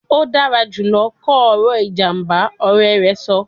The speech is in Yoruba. O dara julọ kọ ọrọ ijamba, ọrẹ rẹ sọ